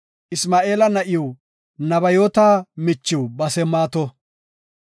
Isma7eela na7iw, Nebayoota michiw Basemaato.